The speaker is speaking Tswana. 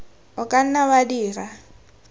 o ka nna wa dira